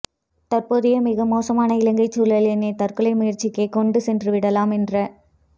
தற்போதய மிக மோசமான இலங்கைச் சூழல் என்னை தற்கொலை முயற்சிக்கே கொண்டு சென்று விடலாம் என்ற